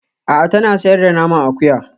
A'a tana sayar da naman akuya